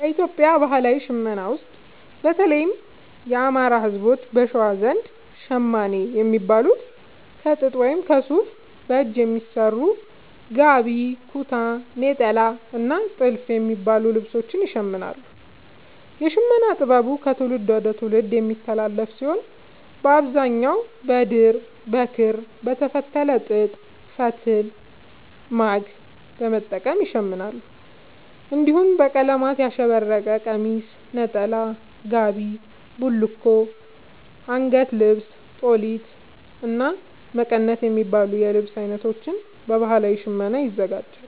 በኢትዮጵያ ባህላዊ ሽመና ውስጥ፣ በተለይም የአማራ፣ ህዝቦች(በሸዋ) ዘንድ ‘ሸማኔ’ የሚባሉት ከጥጥ ወይም ከሱፍ በእጅ በሚሰሩ ‘ጋቢ’፣ ‘ኩታ’፣ ‘ኔጣላ’ እና ‘ቲልፍ’ የሚባሉ ልብሶችን ይሽምናሉ። የሽመና ጥበቡ ከትውልድ ወደ ትውልድ የሚተላለፍ ሲሆን፣ በአብዛኛው በድር፣ በክር፣ በተፈተለ ጥጥ ፈትል(ማግ) በመጠቀም ይሸምናሉ። እንዲሁም በቀለማት ያሸበረቀ ቀሚስ፣ ነጠላ፣ ጋቢ፣ ቡልኮ፣ አንገት ልብስ(ጦሊት)፣እና መቀነት የሚባሉ የልብስ አይነቶችን በባህላዊ ሽመና ያዘጋጃሉ።